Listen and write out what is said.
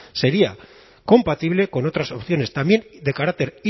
sería compatible con otras opciones también de carácter